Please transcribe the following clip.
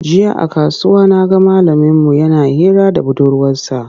Jiya a kasuwa na ga malaminmu yana hira da budurwarsa.